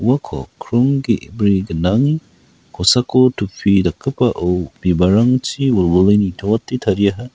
uako krong ge·bri gnang kosako topi dakgipao bibalrangchi wilwile nitoate tariaha.